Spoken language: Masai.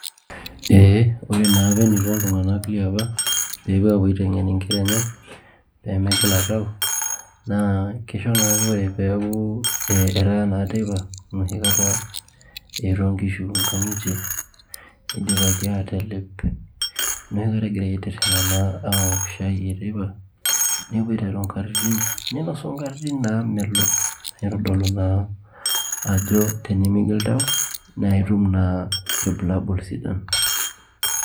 Ore naapa eneiko iltung'anak liapa tenepuo apuo aiteng'en inkera enye pee megila tau naa keisho naake ore peeku etaa naa teipa enoshi kata eetuo inkishu inkang'itie neidipaki aa telep negirai naa aitirring'a aaok shai e teipa nepuo aiteru inkatinin neepuo ainosu inkatinin naamelok naitodolu naa ajo tenemekigila taa nilo atum naa ilbulabul sidan